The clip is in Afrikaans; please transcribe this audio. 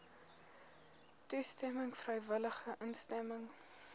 toestemming vrywillige instemming